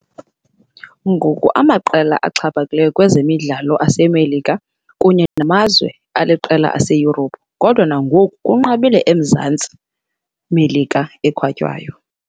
Ngoku Clubs zixhaphakile kwezemidlalo American kunye kumazwe aliqela aseYurophu, kodwa nangoku kunqabile eMzantsi American ekhatywayo.